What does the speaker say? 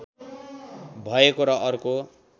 भएको र अर्को